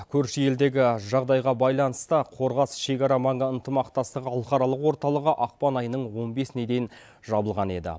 көрші елдегі жағдайға байланысты қорғас шекара маңы ынтымақтастығы халықаралық орталығы ақпан айының он бесіне дейін жабылған еді